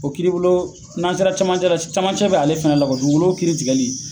O kiiri bulon n'an sera camancɛ la camancɛ bɛ ale fana la dugukolo kiiri tigɛli